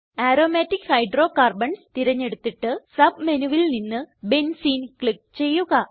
aromatic hydrocarbons തിരഞ്ഞെടുത്തിട്ട് Submenuവിൽ നിന്ന് ബെൻസീൻ ക്ലിക്ക് ചെയ്യുക